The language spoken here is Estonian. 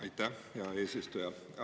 Aitäh, hea eesistuja!